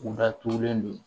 U datugulen don